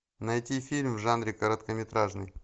найти фильм в жанре короткометражный